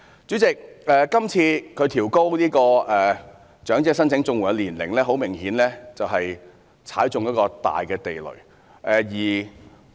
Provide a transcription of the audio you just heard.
主席，政府是次調高申請長者綜援的年齡，顯然是踏中一個大地雷。